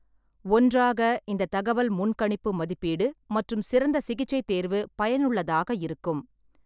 ஒன்றாக, இந்த தகவல் முன்கணிப்பு மதிப்பீடு மற்றும் சிறந்த சிகிச்சை தேர்வு பயனுள்ளதாக இருக்கும்.